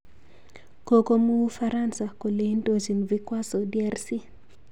Kokomuu Ufaransa kole indochin vikwaso DRC